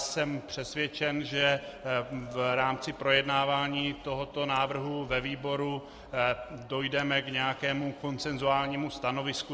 Jsem přesvědčen, že v rámci projednávání tohoto návrhu ve výboru dojdeme k nějakému konsensuálnímu stanovisku.